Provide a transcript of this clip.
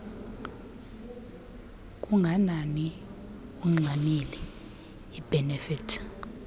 kanganani ungxamile iibhenefithi